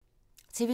TV 2